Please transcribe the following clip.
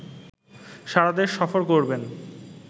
সারাদেশ সফর করবেন